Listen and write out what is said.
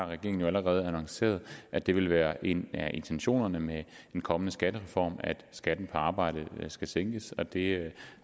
regeringen har allerede annonceret at det vil være en af intentionerne med en kommende skattereform at skatten på arbejde skal sænkes det